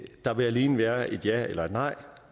der vil alene være et ja eller et nej